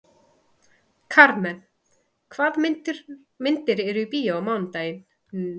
Karmen, hvaða myndir eru í bíó á mánudaginn?